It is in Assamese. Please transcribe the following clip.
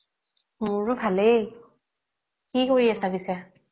মোৰো ভালেই, কি কৰি আছা পিচে